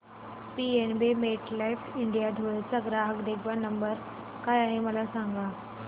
PNB MetLife India Dhule चा ग्राहक देखभाल नंबर काय आहे मला सांगा